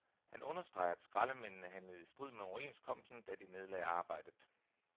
Han understreger, at skraldemændene handlede i strid med overenskomsten, da de nedlagde arbejdet.